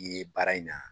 I ye baara in na